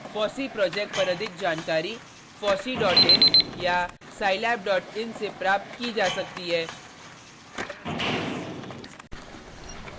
fossee project पर अधिक जानकारी